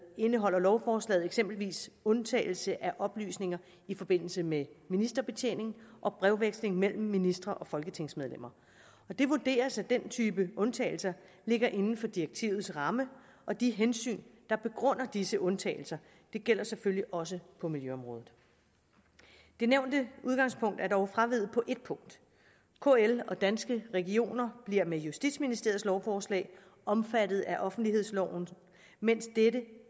indeholder lovforslaget eksempelvis undtagelse af oplysninger i forbindelse med ministerbetjening og brevveksling mellem ministre og folketingsmedlemmer det vurderes at den type undtagelser ligger inden for direktivets ramme og de hensyn der begrunder disse undtagelser gælder selvfølgelig også på milljøområdet det nævnte udgangspunkt er dog fraveget på et punkt kl og danske regioner bliver med justitsministeriets lovforslag omfattet af offentlighedsloven mens dette